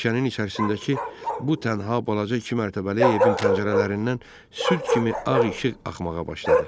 Meşənin içərisindəki bu tənha balaca iki mərtəbəli evin pəncərələrindən süd kimi ağ işıq axmağa başladı.